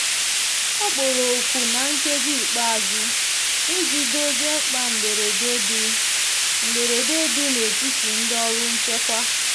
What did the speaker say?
ọ kpọrọ oku na nkeji ikpeazu ịjị dozie mkpa mgberede di mgberede di n'etiti ndi ọrụ nchekwa